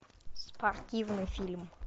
спортивный фильм